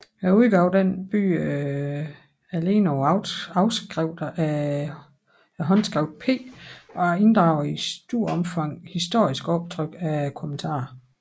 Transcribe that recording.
Udgaven bygger alene på afskrifter af håndskriftet P og inddrager i stort opfang historiske optryk af kommentarerne